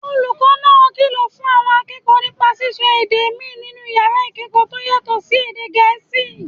Olùkọ́ náà kìlọ̀ fún àwọn akẹ́kọ̀ọ́ nípa sísọ èdè míì nínú yàrá ìkẹ́kọ̀ọ́ tó yàtọ̀ sí èdè Gẹ̀ẹ́sì